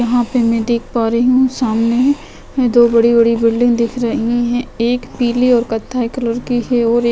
यहाँ पे मैं देख पा रही हूं सामने में दो बड़ी-बड़ी बिल्डिंग दिख रही है एक पीले और कथई कलर की है और एक--